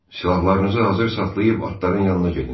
Silahlarınızı hazır saxlayıb atların yanına gedin.